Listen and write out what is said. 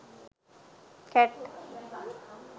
cat